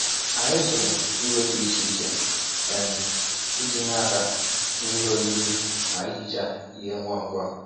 Anyị zụrụ ìgwè dị iche iche um iji nye aka ná ihe oriri na ị hichaa ihe ngwa ngwa.